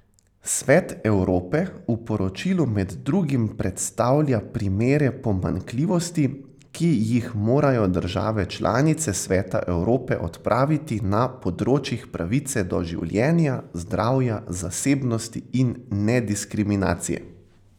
Svet Evrope v poročilu med drugim predstavlja primere pomanjkljivosti, ki jih morajo države članice Sveta Evrope odpraviti na področjih pravice do življenja, zdravja, zasebnosti in nediskriminacije.